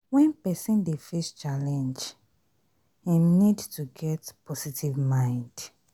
When person dey face challenge im need to get positive mind